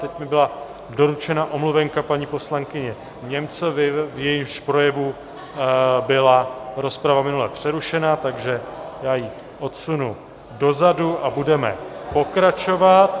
Teď mi byla doručena omluvenka paní poslankyně Němcové, v jejímž projevu byla rozprava minule přerušena, takže já ji odsunu dozadu a budeme pokračovat.